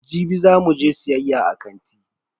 Jibi za mu je siyayya a kanti.